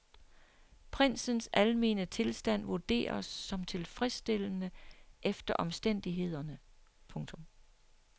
Prinsens almene tilstand vurderes som tilfredsstillende efter omstændighederne. punktum